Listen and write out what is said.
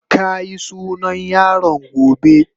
Ka yi sunan yaron gobe.